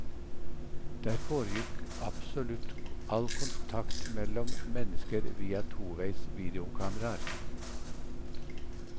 Der foregikk absolutt all kontakt mellom mennesker via toveis videokameraer.